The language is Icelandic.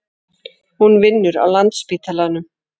Hún vinnur á Landspítalanum.